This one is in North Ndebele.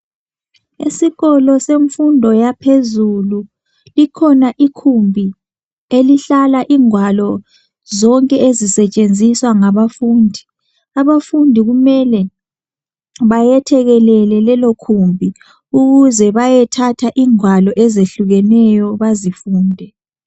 Isikolo semfundo yaphezulu ikhona ikhumbi elihlala ingwalo zonke ezisetshenziswa ngabafundi abafundi kumele bayethekelele lelo khumbi ukuze bayethatha ingwalo ezehlukeneyo bazifunde